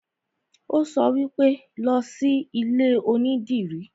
Ó sọ wípé, 'Lọ sí ilé onídìrí'